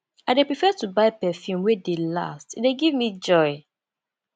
i dey prefer to buy perfume wey dey last e dey give me joy